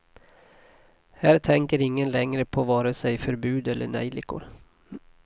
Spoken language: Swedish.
Här tänker ingen längre på vare sig förbud eller nejlikor.